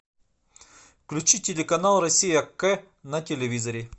включи телеканал россия к на телевизоре